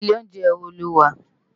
Ilé óunjè wó ló wà?